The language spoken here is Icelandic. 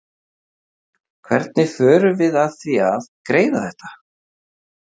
Hvernig förum við að því að greiða þetta?